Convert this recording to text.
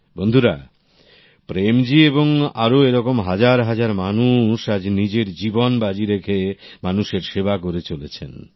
বন্ধুরা প্রেমজী এবং আরো এরকম হাজার হাজার মানুষআজ নিজের জীবন বাজি রেখে মানুষের সেবা করে চলেছেন